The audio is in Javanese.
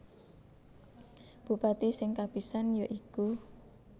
Bupati sing kapisan ya iku